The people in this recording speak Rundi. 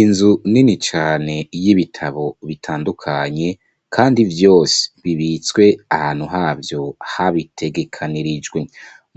Inzu nini cane y'ibitabo bitandukanye kandi vyose bibitswe ahantu havyo habitegekanirijwe